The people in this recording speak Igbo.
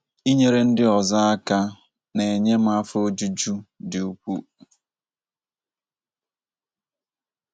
“ Inyere ndị ọzọ aka na - enye m afọ ojuju dị ukwuu. ”